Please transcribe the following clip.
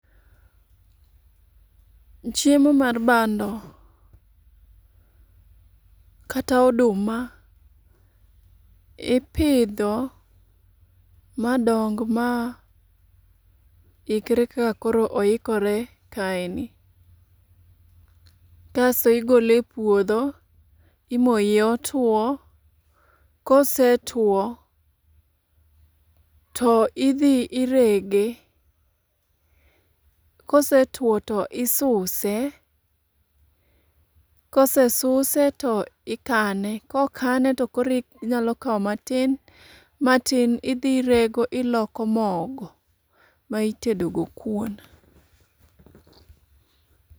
Chiemo mar bando kata oduma ipidho madong ma ikre kaka koro oikore kaeni kaso igole epuodho imoye otuo kosetuo, to idhi irege kosetuo to isuse kosesuse to ikane kokane tokoro inyalo kawo matin matin idhi irego iloko mogo ma itedogo kuon.